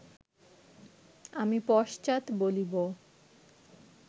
আমি পশ্চাৎ বলিব